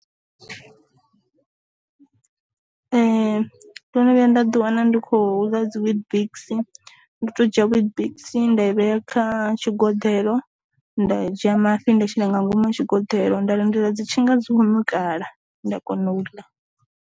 Ndo no vhuya nda ḓi wana ndi khou ḽa dzi weet biks ndi to dzhia weetbix nda i vhea kha tshi goḓelo, nda dzhia mafhi nda shela nga ngomu ha tshi goḓelo nda lindela dzi tshinga dzi kho nukala nda kona u ḽa.